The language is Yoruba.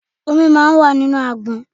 Omi máa ń wà nínú àgbọn.